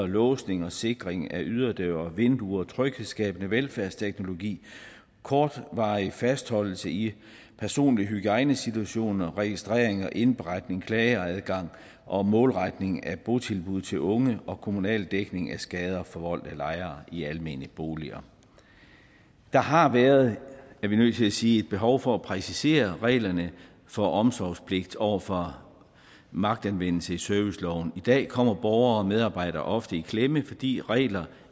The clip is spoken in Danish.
låsning og sikring af yderdøre og vinduer tryghedsskabende velfærdsteknologi kortvarig fastholdelse i personlig hygiejnesituationer registrering og indberetning klageadgang og målretning af botilbud til unge og kommunal dækning af skader forvoldt af lejere i almene boliger der har været er vi nødt til at sige et behov for at præcisere reglerne for omsorgspligt over for magtanvendelse i serviceloven i dag kommer borgere og medarbejdere ofte i klemme fordi reglerne